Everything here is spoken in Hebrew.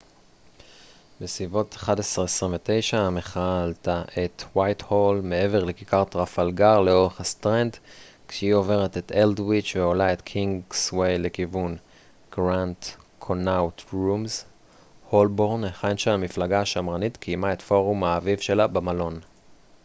בסביבות 11:29 המחאה עלתה את ווייטהול מעבר לכיכר טרפלגר לאורך הסטרנד כשהיא עוברת את אלדוויץ' ועולה את קינגסווי לכיוון הולבורן היכן שהמפלגה השמרנית קיימה את פורום האביב שלה במלון grand connaught rooms